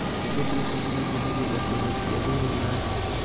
Itũngũrũ cia Kenya ciendagio thoko-inĩ cia thĩiniĩ na nja